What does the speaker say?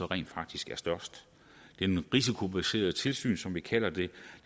rent faktisk er størst det risikobaserede tilsyn som vi kalder det